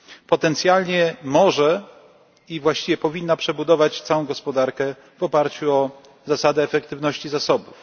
Potencjalnie może i właściwie powinna przebudować całą gospodarkę w oparciu o zasadę efektywności zasobów.